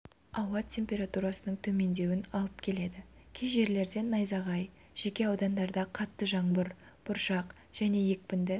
ауа температурасының төмендеуін алып келеді кей жерлерде найзағай жеке аудандарда қатты жаңбыр бұршақ және екпінді